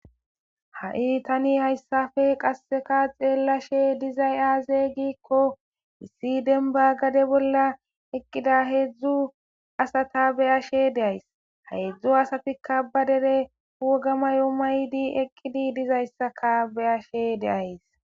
Ha7i tani hayssafe qasseka xeellashe dizay aaze giikko missi denba gade bolla eqqida heedzdzu asata beyashe deays heedzdzu asafikka ba dere wgamayo maydi eqqidi dizayssaka beyashe deays.